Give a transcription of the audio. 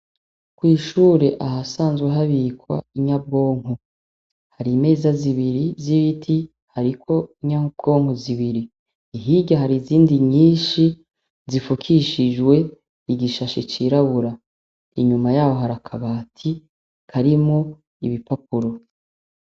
Kwishure ahasanzwe habikwa inyabwonko, hari meza zibiri vy'ibiti hariko inyabwonko zibiri, hirya hari izindi nyinshi zifukishijwe igishashe cirabura inyuma yaho harakabati karimo ibipakuro.